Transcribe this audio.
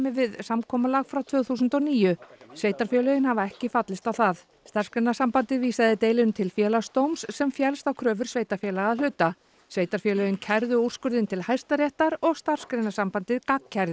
við samkomulag frá tvö þúsund og níu sveitarfélögin hafa ekki fallist á það Starfsgreinasambandið vísaði deilunni til Félagsdóms sem féllst á kröfur sveitarfélaga að hluta sveitarfélögin kærðu úrskurðinn til Hæstaréttar og Starfsgreinasambandið